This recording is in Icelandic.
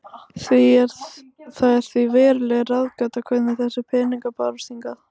Það er því veruleg ráðgáta hvernig þessir peningar bárust hingað.